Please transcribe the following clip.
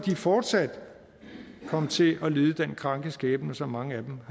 fortsat vil komme til at lide den kranke skæbne som mange af dem